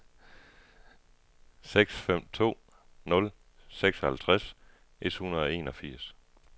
seks fem to nul seksoghalvtreds et hundrede og enogfirs